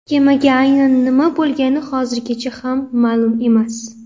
Kemaga aynan nima bo‘lgani hozirgacha ham ma’lum emas.